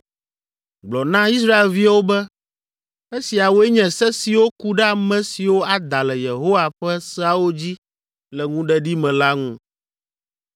“Gblɔ na Israelviwo be, ‘esiawoe nye se siwo ku ɖe ame siwo ada le Yehowa ƒe seawo dzi le ŋuɖeɖi me la ŋu.